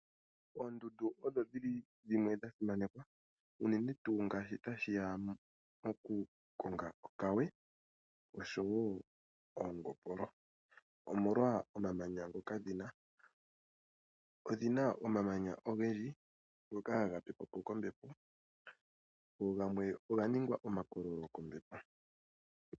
Oondundu odho dhi li dhimwe dha simanekwa unene tuu ngaashi tashi ya pokukonga okawe nosho wo oongopolo, omolwa omamanya ngoka dhi na. Odhi na omamanya ogendji ngoka haga pepwa po kombepo go gamwe oga ningwa omakololo kombepo.